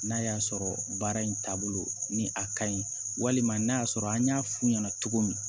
N'a y'a sɔrɔ baara in taabolo ni a ka ɲi walima n'a y'a sɔrɔ an y'a f'u ɲɛna cogo min